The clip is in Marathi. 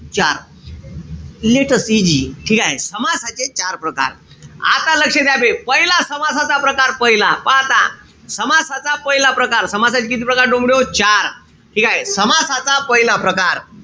चार. Let us see ठीकेय? समासाचे चार प्रकार. आता लक्ष द्या बे. पहिला समासाचा प्रकार पहिला. पहा आता. समासाचा पहिला प्रकार. समासाचे किती प्रकार डोमड्याहो? चार. ठीकेय? समासाचा पहिला प्रकार.